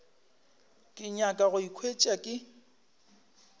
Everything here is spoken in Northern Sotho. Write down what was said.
ke nyaka go ikhwetša ke